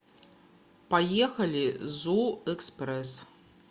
поехали зуэкспресс